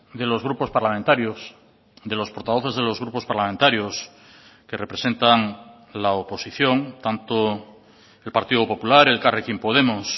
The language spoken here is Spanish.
de los grupos parlamentarios de los portavoces de los grupos parlamentarios que representan la oposición tanto el partido popular elkarrekin podemos